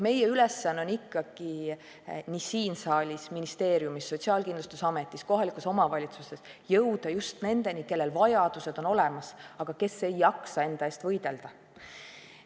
Meie ülesanne on ikkagi nii siin saalis, ministeeriumis, Sotsiaalkindlustusametis kui ka kohalikes omavalitsustes jõuda just nendeni, kellel vajadus on olemas, aga kes ei jaksa enda eest võidelda.